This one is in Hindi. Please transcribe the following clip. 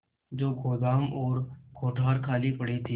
जो गोदाम और कोठार खाली पड़े थे